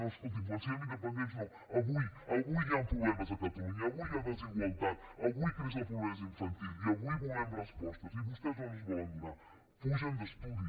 no escolti’m quan siguem independents no avui avui hi han problemes a catalunya avui hi ha desigualtat avui creix la pobresa infantil i avui volem respostes i vostès no ens en volen donar fugen d’estudi